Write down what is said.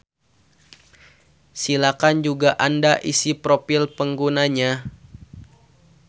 Silakan juga anda isi profil penggunanya.